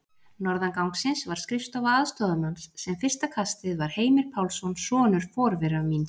Norðan gangsins var skrifstofa aðstoðarmanns, sem fyrsta kastið var Heimir Pálsson, sonur forvera míns